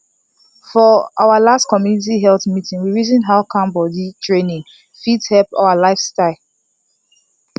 for our last community health meeting we reason how calm body training fit help our lifestyle